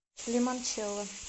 лимончелло